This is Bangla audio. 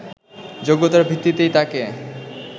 যোগ্যতার ভিত্তিতেই তাকে